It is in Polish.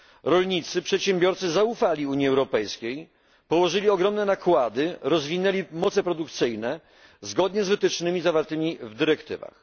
Rolnicy i przedsiębiorcy zaufali Unii Europejskiej, ponieśli ogromne nakłady, rozwinęli moce produkcyjne, zgodnie z wytycznymi zawartymi w dyrektywach.